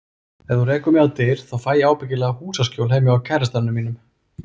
Ef þú rekur mig á dyr, þá fæ ég ábyggilega húsaskjól heima hjá kærastanum mínum.